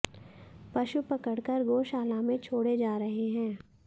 पशु पकड़कर गोशाला में छोड़े जा रहे हैं